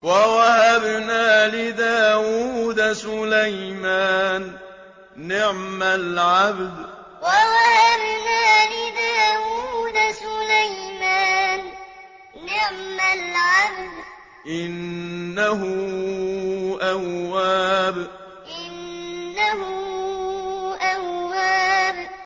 وَوَهَبْنَا لِدَاوُودَ سُلَيْمَانَ ۚ نِعْمَ الْعَبْدُ ۖ إِنَّهُ أَوَّابٌ وَوَهَبْنَا لِدَاوُودَ سُلَيْمَانَ ۚ نِعْمَ الْعَبْدُ ۖ إِنَّهُ أَوَّابٌ